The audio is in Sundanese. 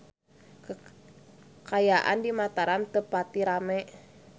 Kaayaan di Mataram teu pati rame